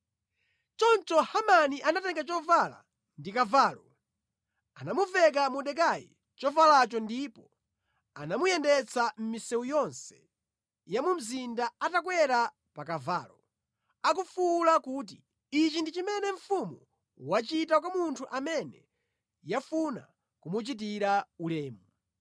Choncho Hamani anatenga chovala ndi kavalo. Anamuveka Mordekai chovalacho ndipo anamuyendetsa mʼmisewu yonse ya mu mzinda atakwera pa kavalo, akufuwula kuti, “Ichi ndi chimene mfumu yachita kwa munthu amene yafuna kumuchitira ulemu!”